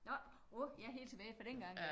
Nåh åh ja helt tilbage fra dengang